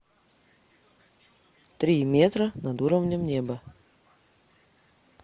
три метра над уровнем неба